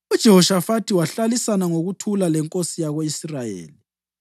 UJehoshafathi wahlalisana ngokuthula lenkosi yako-Israyeli.